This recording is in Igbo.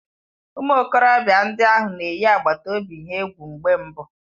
Ụmụ okorobịa ndị ahụ na-eyi agbata obi ahụ egwu mgbe mbụ